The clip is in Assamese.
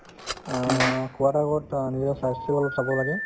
অ, খোৱাৰ আগত অ নিজৰ স্ৱাস্থ্য অলপ চাব লাগে